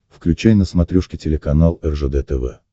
включай на смотрешке телеканал ржд тв